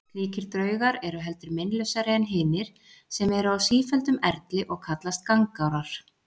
Slíkir draugar eru heldur meinlausari en hinir sem eru á sífelldum erli og kallast gangárar.